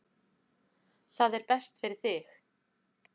Það er best fyrir þig.